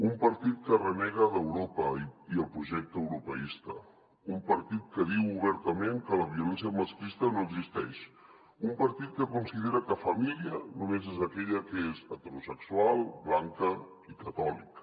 un partit que renega d’europa i el pro·jecte europeista un partit que diu obertament que la violència masclista no existeix un partit que considera que família només és aquella que és heterosexual blanca i catòlica